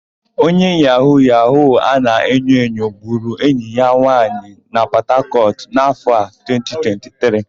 Onye yahu-yahu a na-enyoenyo gburu enyi ya nwaanyì na Pọtakọtụ n'áfọ̀ a, 2023.